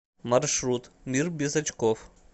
маршрут мир без очков